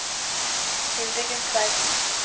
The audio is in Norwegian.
Hildegunn Tveiten